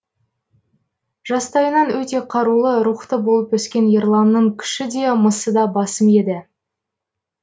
жастайынан өте қарулы рухты болып өскен ерланның күші де мысы да басым еді